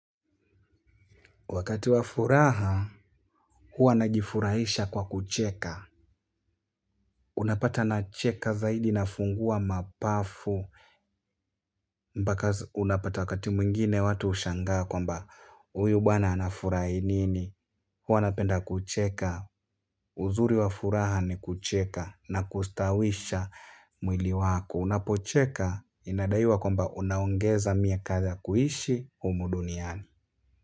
Wakati wa furaha, huwa najifurahisha kwa kucheka. Unapata nacheka zaidi nafungua mapafu. Mbaka unapata wakati mwingine watu ushangaa kwamba uyu bwana anafurahi nini. Huwa napenda kucheka. Uzuri wa furaha ni kucheka na kustawisha mwili wako. Unapo cheka inadaiwa kwamba unaongeza miaka za kuishi humu duniani.